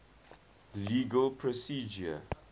legal procedure